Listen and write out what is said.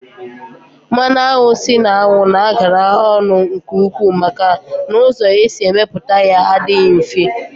Mmanụ anwụ si n'anwu na agara ọnụ nke ukwuu maka na ụzọ esi emeputa ya adịghị mfe